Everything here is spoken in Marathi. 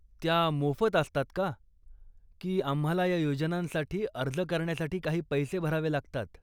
त्या मोफत असतात का, की आम्हाला ह्या योजनांसाठी अर्ज करण्यासाठी काही पैसे भरावे लागतात?